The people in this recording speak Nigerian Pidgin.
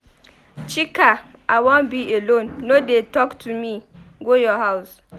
Chika I wan be alone no dey talk to me. Go your house.